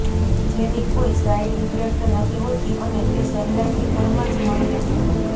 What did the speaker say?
જેની કોઈ side effect નથી હોતી અને તે સહેલાઈથી ઘરમાં જ મળી રહે